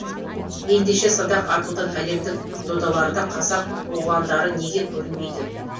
ендеше садақ атудан әлемдік додаларда қазақ оғландары неге көрінбейді